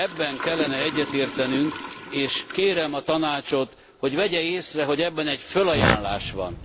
Ebben kellene egyetértenünk, és kérem a Tanácsot, hogy vegye észre, hogy ebben egy fölajánlás van.